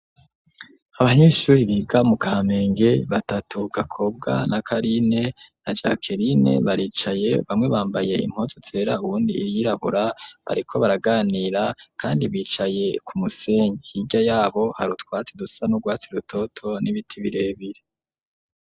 Abanyeshuri biga mu Kamenge batatu Gakobwa na Karine na Jackeline baricaye bamwe bambaye impuzu zera uwundi iyirabura bariko baraganira kandi bicaye ku musenyi hirya yabo hari utwatsi dusa n'urwatsi rutoto n'ibiti birebire.